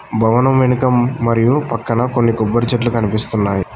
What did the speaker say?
భవనం వెనుక మరియు పక్కన కొన్ని కొబ్బరి చెట్లు కనిపిస్తున్నాయి.